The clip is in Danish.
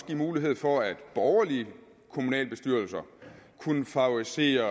give mulighed for at borgerlige kommunalbestyrelser kunne favoriser